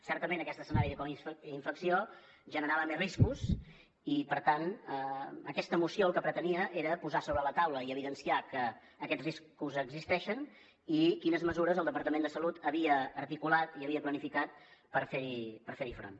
certament aquest escenari de coinfecció generava més riscos i per tant aquesta moció el que pretenia era posar sobre la taula i evidenciar que aquests riscos existeixen i quines mesures el departament de salut havia articulat i havia planificat per fer hi front